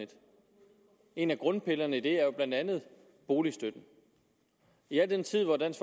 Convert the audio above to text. en af grundpillerne i det er jo blandt andet boligstøtten i al den tid hvor dansk